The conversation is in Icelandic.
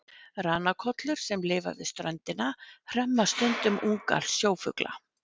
ranakollur sem lifa við ströndina hremma stundum unga sjófugla